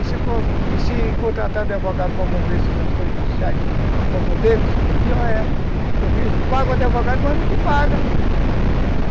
E se e se contratar um advogado para mover essas ações judiciais a favor deles, pior é. Porque paga o advogado, mas não te pagam.